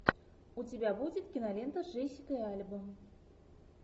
у тебя будет кинолента с джессикой альба